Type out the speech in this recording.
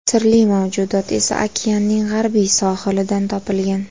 Sirli mavjudot esa okeanning g‘arbiy sohilidan topilgan.